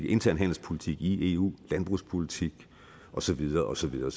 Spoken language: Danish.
intern handelspolitik i eu landbrugspolitik og så videre og så videre